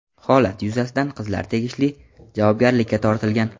Holat yuzasidan qizlar tegishli javobgarlikka tortilgan.